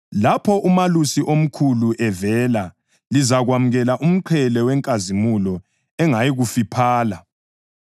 Lapho uMalusi oMkhulu evela, lizakwamukela umqhele wenkazimulo engayikufiphala.